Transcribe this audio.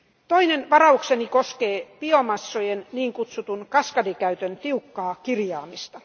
Toinen varaukseni koskee biomassojen niin kutsutun kaskadikäytön tiukkaa kirjaamista.